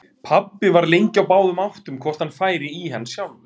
Pabbi var lengi á báðum áttum hvort hann færi í hann sjálfur.